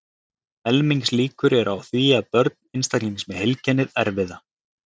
Helmingslíkur eru á því að börn einstaklings með heilkennið erfi það.